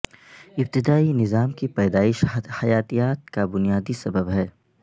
ابتدائی نظام کی پیدائش حیاتیات کا بنیادی سبب ہے